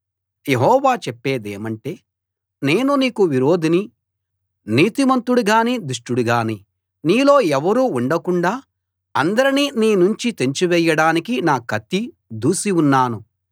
యెహోవా చెప్పేదేమంటే నేను నీకు విరోధిని నీతిమంతుడుగాని దుష్టుడుగాని నీలో ఎవరూ ఉండకుండాా అందరినీ నీనుంచి తెంచివేయడానికి నా కత్తి దూసి ఉన్నాను